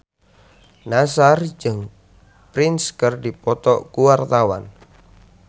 Nassar jeung Prince keur dipoto ku wartawan